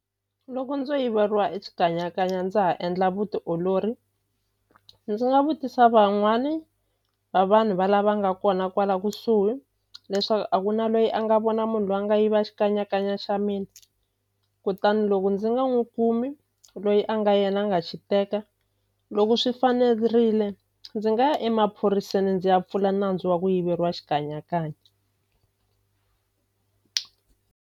Loko ndzo yiveriwa e xikanyakanya ndza ha endla vutiolori ndzi nga vutisa van'wani va vanhu va lava nga kona kwala kusuhi leswaku a ku na lweyi a nga vona munhu lwa nga yiva xikanyakanya xa mina kutani loko ndzi nga n'wi kumi loyi a nga yena a nga xi teka loko swi fanerile ndzi nga ya emaphoriseni ndzi ya pfula nandzu wa ku yiveriwa xikanyakanya.